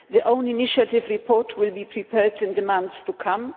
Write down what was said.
the own initiative report will be prepared in the months to come.